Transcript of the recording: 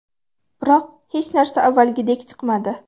Biroq hech narsa avvalgidek chiqmadi.